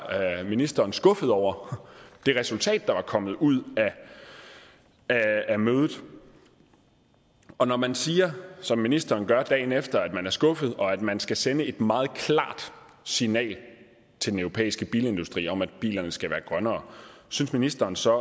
ministeren skuffet over det resultat der var kommet ud af mødet og når man siger som ministeren gør dagen efter at man er skuffet og at man skal sende et meget klart signal til den europæiske bilindustri om at bilerne skal være grønnere synes ministeren så